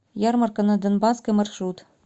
ярмарка на донбасской маршрут